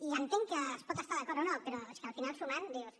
i entenc que es pot estar d’acord o no però és que al final sumant dius